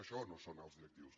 això no són alts directius